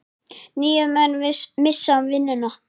Níu menn missa vinnuna.